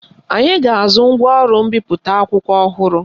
Anyị ga-azụ ngwaọrụ mbipụta akwụkwọ ọhụrụ